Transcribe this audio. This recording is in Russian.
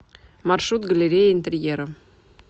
маршрут галерея интерьера